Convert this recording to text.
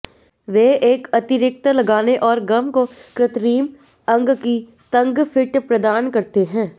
वे एक अतिरिक्त लगाने और गम को कृत्रिम अंग की तंग फिट प्रदान करते हैं